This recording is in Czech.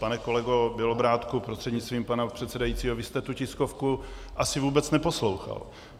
Pane kolego Bělobrádku prostřednictvím pana předsedajícího, vy jste tu tiskovku asi vůbec neposlouchal.